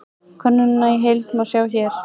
Könnunina í heild má sjá hér